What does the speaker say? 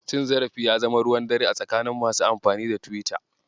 Cin zarafi ya zama ruwan dare a tsakanin masu amfani da Tiwita.